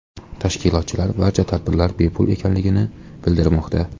Tashkilotchilar barcha tadbirlar bepul ekanligini bildirmoqda.